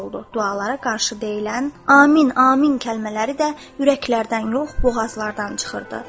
Dualara qarşı deyilən amin, amin kəlmələri də ürəklərdən yox, boğazlardan çıxırdı.